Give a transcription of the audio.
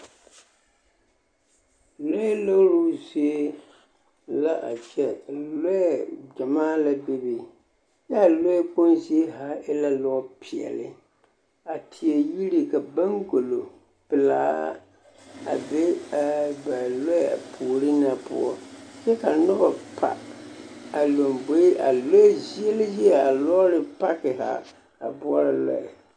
Lɔɛ looruu zie la a kyɛ, lɔɛ gyɛmaa la bebe kyɛ a lɔɛ kpoŋ zie haa e la lɔɔpeɛle a teɛ yiri ka baŋgolo pelaa a be a ba lɔɛ puori na poɔ kyɛ ka noba pa a lomboe a lɔɛ zie la zie zaa a lɔɔre paki haa a boɔrɔ lɔɛ.